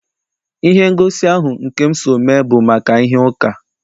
Ihe ngosi ahụ nke m so mee bụ maka ihe uka.